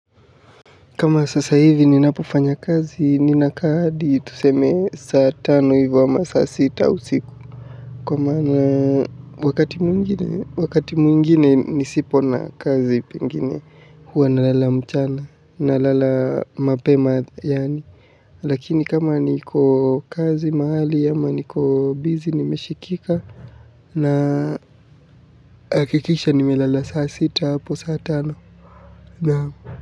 Kama sasa hivi ninapofanya kazi, ninaka hadi tuseme saa tano hivyo ama saa sita usiku. Kwa maana wakati mwingine, wakati mwingine nisipo na kazi pengine, huwa na lala mchana, na lala mapema, yaani. Lakini kama niko kazi mahali, ama niko busy, nimeshikika, nahakikisha nime lala saa sita hapo saa tano, naam.